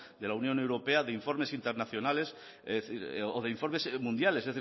de la unión europea de informes internacionales o de informes mundiales